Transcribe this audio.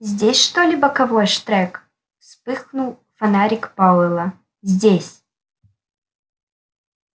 здесь что ли боковой штрек вспыхнул фонарик пауэлла здесь